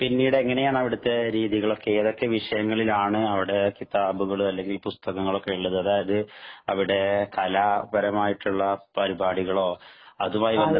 പിന്നിട് എങ്ങനെയാണ് അവിടത്തെ രീതികളൊക്കെ. ഏതൊക്കെ വിഷയങ്ങളിലാണ് അവിടെ കിത്താബുകള്‍ അല്ലെങ്കില്‍ പുസ്തകങ്ങളൊക്കെ ഉള്ളത്. അതായത് അവിടെ കലാപരമായിട്ടുള്ള പരിപാടികളോ, അതുമായി ബന്ധപ്പെട്ട പുസ്തകങ്ങളോ